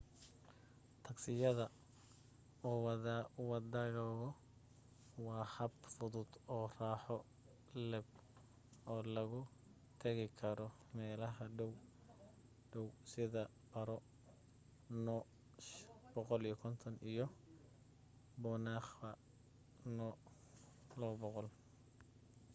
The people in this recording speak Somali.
tagsiyada la wadaago waa hab fudud oo raaxo leb oo lagu tegi karo meelaha dhow-dhow sida paro nu 150 iyo punakha nu 200